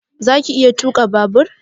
Zaka iya tuka babur?